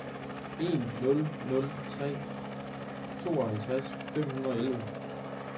en nul nul tre tooghalvtreds fem hundrede og elleve